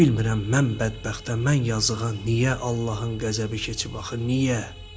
Bilmirəm mən bədbəxtə, mən yazıqa niyə Allahın qəzəbi keçib axı, niyə?